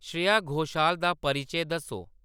श्रेया घोषाल दा परिचे दस्सो